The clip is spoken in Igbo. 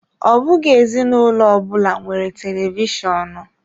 Ọ bụghị ezinụlọ ọbụna nwere televishonu.